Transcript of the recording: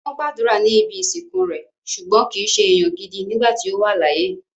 Wọ́n gbàdúrà ní ibi ìsìnkú rẹ̀, ṣùgbọ́n kìí se èèyàn gidi nígbà tí ó wà láyé